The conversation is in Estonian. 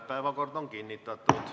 Päevakord on kinnitatud.